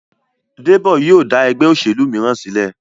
Debo yíò da ègbé òṣèlú míràn sílè.